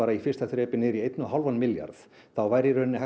í fyrsta þrepi niður í einn og hálfan milljarð þá væri í raun hægt